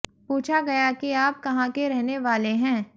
पूछा गया कि आप कहां के रहने वाले हैं